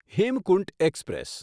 Hemkunt express